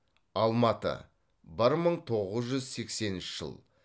алматы бір мың тоғыз жүз сексенінші жыл